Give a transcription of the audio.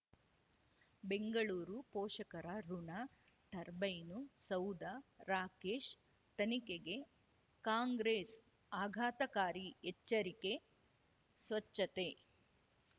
ಬೆಂಗಳೂರು ಪೋಷಕರಋಣ ಟರ್ಬೈನು ಸೌಧ ರಾಕೇಶ್ ತನಿಖೆಗೆ ಕಾಂಗ್ರೆಸ್ ಆಘಾತಕಾರಿ ಎಚ್ಚರಿಕೆ ಸ್ವಚ್ಛತೆ